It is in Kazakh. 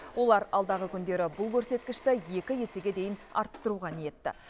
олар алдағы күндері бұл көрсеткішті екі есеге дейін арттыруға ниетті